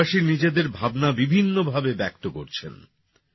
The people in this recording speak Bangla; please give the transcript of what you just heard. দেশবাসী নিজেদের ভাবনা বিভিন্ন ভাবে ব্যক্ত করছেন